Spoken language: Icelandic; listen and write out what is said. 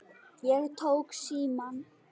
Ég tók símann.